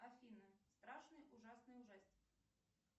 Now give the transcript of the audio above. афина страшный ужасный ужастик